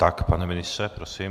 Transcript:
Tak pane ministře, prosím.